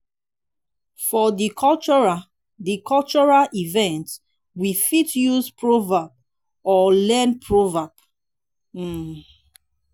for di cultural di cultural event we fit use proverb or learn proverbs um